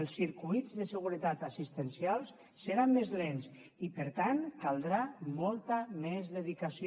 els circuits de seguretat assistencials seran més lents i per tant caldrà molta més dedicació